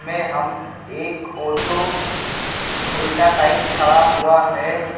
मे हम एक ऑटो उल्टा साइड खड़ा हुआ है।